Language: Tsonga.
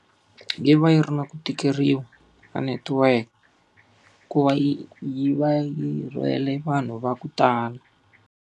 Yi va yi ri na ku tikeriwa ka network, hikuva yi yi va yi rhwele vanhu va ku tala.